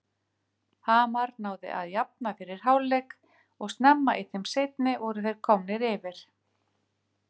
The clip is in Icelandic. Hamar náði að jafna fyrir hálfleik og snemma í þeim seinni voru þeir komnir yfir.